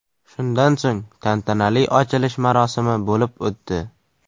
Shundan so‘ng tantanali ochilish marosimi bo‘lib o‘tdi.